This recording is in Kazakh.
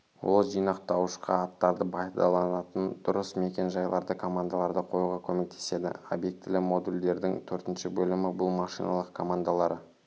ол жинақтауышқа аттарды пайдаланатын дұрыс мекен-жайларды командаларды қоюға көмектеседі обьектілі модульдердің төртінші бөлімі бұл машиналық командалары